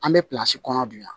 An bɛ kɔnɔ bi yan